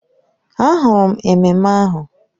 Ahụrụ m ememme ahụ